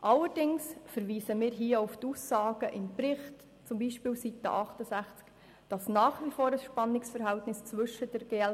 Allerdings verweisen wir hier auf die Aussagen im Bericht, beispielsweise auf Seite 68, wonach immer noch ein Spannungsverhältnis zwischen der GL